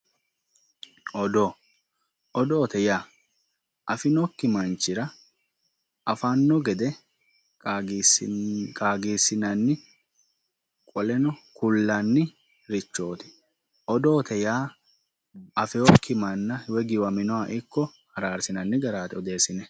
Odoo, odootte yaa afinokki manchira afanno gede qaagisinanni qolenno kulannirichooti. odootte yaa afiyooki manna, giwaminoha ikko araarisinanni garaati woy odeesinne.